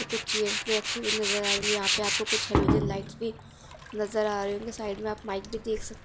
कुछ चेयर्स भी रखी नजर आ रही होंगी यहां पर आपको कुछ हेलोजन लाइटस भी नजर आ रही होगीं साइड में आप माइक भी देख सक --